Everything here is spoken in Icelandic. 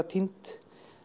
týnd